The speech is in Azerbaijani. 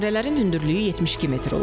Minarələrin hündürlüyü 72 metr olacaq.